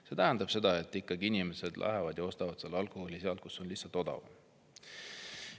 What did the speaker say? See tähendab seda, et inimesed ikkagi lähevad ja ostavad alkoholi sealt, kus see on lihtsalt odavam.